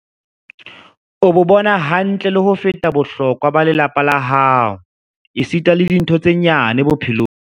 O bo bona hantle le ho feta bohlokwa ba lelapa la hao esita le dintho tse nyane bo-phelong.